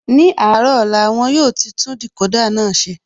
Ní àárọ̀ ọ̀la, won yóò ti tún Decoder náà ṣe